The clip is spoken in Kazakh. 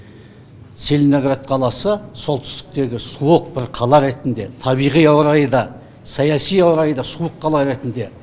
целиноград қаласы солтүстіктегі суық бір қала ретінде табиғи ауа райы да саяси ауа райы да суық қала ретінде